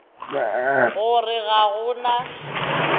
go re ga go na